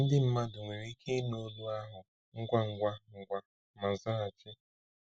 Ndị mmadụ nwere ike ịnụ olu ahụ ngwa ngwa ngwa ma zaghachi.